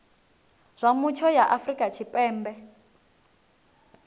zwa mutsho ya afrika tshipembe